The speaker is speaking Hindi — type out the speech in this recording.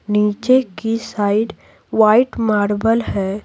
नीचे की साइड वाइट मार्बल है।